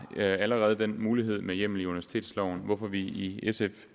allerede den mulighed med hjemmel i universitetsloven hvorfor vi i sf